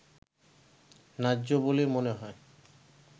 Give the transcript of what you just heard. ন্যায্য বলেই মনে হয়